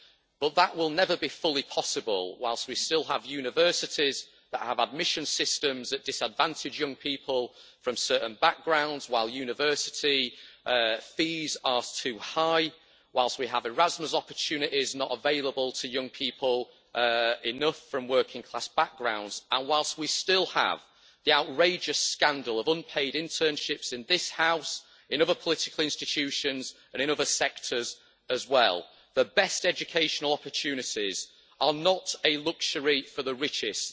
But that will never be fully possible while we still have universities that have admissions systems that disadvantage young people from certain backgrounds, while university fees are too high, while we have Erasmus opportunities not available to enough young people from working class backgrounds, and while we still have the outrageous scandal of unpaid internships in this House, in other political institutions and in other sectors as well. The best educational opportunities are not a luxury for the richest.